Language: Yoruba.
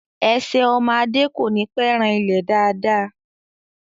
Ẹsẹ̀ ọmọ Adé kò ní pẹ́ ran ilẹ̀ dáàda